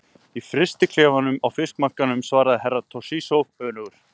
Í frystiklefanum á fiskmarkaðinum, svaraði Herra Toshizo önugur.